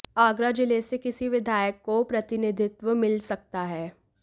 आगरा जिले से किसी विधायक को प्रतिनिधित्व मिल सकता है